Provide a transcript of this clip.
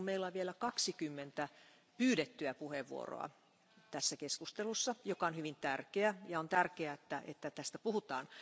Meillä on vielä 20 pyydettyä puheenvuoroa tässä keskustelussa, joka on hyvin tärkeä, ja on tärkeää, että tästä puhutaan.